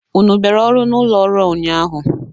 Unu bịara ọrụ n'ụlọ ọrụ a ụnyaahụ?